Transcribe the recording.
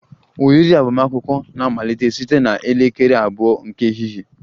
Oriri agbamakwụkwọ na-amalite site na elekere abụọ nke ehihie